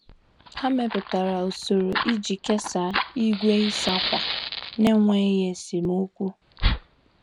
Ha mepụtara usoro iji kesaa igwe ịsa akwa n'enweghị esemokwu.